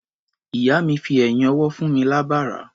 Ìyá mi fi ẹ̀yín ọwọ́ fún mi lábàrá.